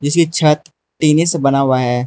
इसकी छत टिने से बना हुआ है।